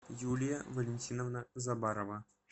юлия валентиновна забарова